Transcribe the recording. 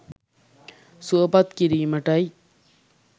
සුවපත් කිරීමටයි.